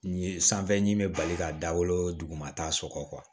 Nin ye sanfɛ ɲi bɛ bali ka dawolo dugumata sɔrɔ